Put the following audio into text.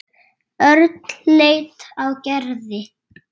Örn leit á Gerði.